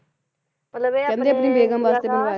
ਮਤਲਬ ਇਹ ਆਪਣੀ ਬੇਗਮ ਵਾਸਤੇ ਬਣਾਇਆ ਸੀ